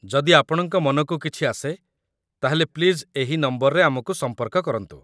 ଯଦି ଆପଣଙ୍କ ମନକୁ କିଛି ଆସେ ତା'ହେଲେ ପ୍ଲିଜ୍ ଏହି ନମ୍ବରରେ ଆମକୁ ସମ୍ପର୍କ କରନ୍ତୁ ।